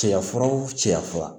Cɛyafuraw cɛya fura